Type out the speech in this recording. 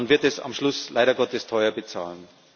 Man wird es am Schluss leider Gottes teuer bezahlen.